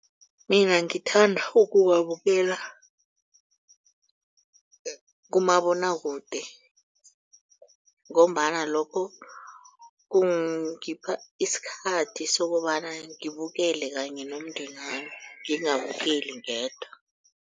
Mina ngithanda ukuwabukela kumabonwakude. Ngombana lokho kungipha isikhathi sokobana ngibukele kanye nomndenami ngingabukeli ngedwa.